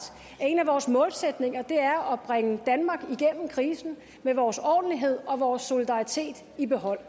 at en af vores målsætninger er at bringe danmark igennem krisen med vores ordentlighed og vores solidaritet i behold